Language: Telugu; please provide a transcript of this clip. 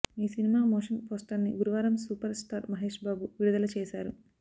ఈ సినిమా మోషన్ పోస్టర్ని గురువారం సూపర్ స్టార్ మహేష్బాబు విడుదల చేశారు